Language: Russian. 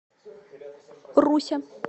руся